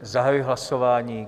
Zahajuji hlasování.